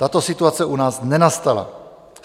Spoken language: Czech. Tato situace u nás nenastala.